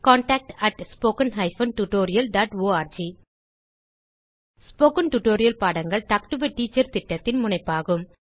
contact at spoken hyphen tutorial dot org spoken tutorial பாடங்கள் talk to a teacher திட்டத்தின் முனைப்பாகும்